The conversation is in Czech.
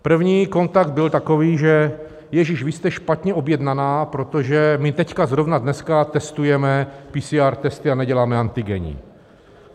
První kontakt byl takový, že: Ježiš, vy jste špatně objednaná, protože my teď zrovna dneska testujeme PCR testy a neděláme antigenní.